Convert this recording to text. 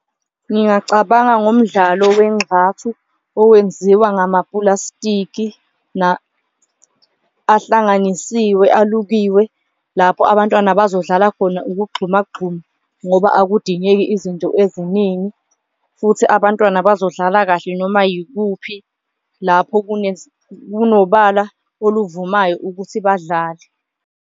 Ngingacabanga ngomdlalo wenxathu owenziwa ngamapulasitiki ahlanganisiwe, alukiwe lapho abantwana bazodlala khona ukugxumagxuma ngoba akudingeki izinto eziningi, futhi abantwana bazodlala kahle noma yikuphi lapho kunobala oluvumayo ukuthi badlale.